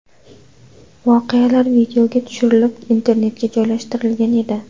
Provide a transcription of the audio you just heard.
Voqealar videoga tushirilib, internetga joylashtirilgan edi.